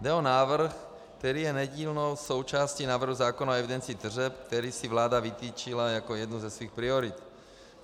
Jde o návrh, který je nedílnou součástí návrhu zákona o evidenci tržeb, který si vláda vytyčila jako jednu ze svých priorit.